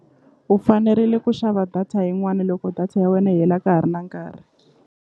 U fanerile ku xava data yin'wana loko data ya wena yi hela ka ha ri na nkarhi.